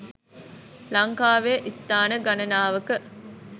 ලංකාවේ ස්ථාන ගණනාවක